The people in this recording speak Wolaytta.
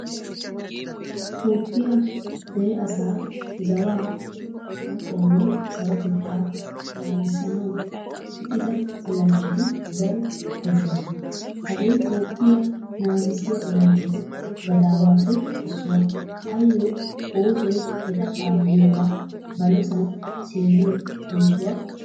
Toophphiyaa dere asa zawaa, maaxuwaanne sarotetta naagisanawu luxxida olanchchati daro koshshosona. Hagee toophphiyaa naagisiyaa olanchchatu gadaawappe issuwa. Ayo oosoy eta kaaliyoga balosan seeriyo oosuwaa oottees.